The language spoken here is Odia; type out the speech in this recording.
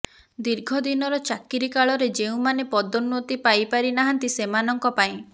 ଦୀର୍ଘ ଦିନର ଚାକିରି କାଳରେ ଯେଉଁମାନେ ପଦୋନ୍ନତି ପାଇ ପାରି ନାହାନ୍ତି ସେମାନଙ୍କ ପାଇଁ